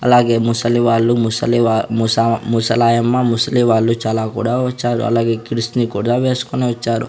అలాగే ముసలి వాళ్లు ముసలివా ముస ముసలాయమ్మ ముసలి వాళ్లు చాలా కూడా వచ్చారు అలాగే కిడ్స్ ని కూడా వేసుకొని వచ్చారు.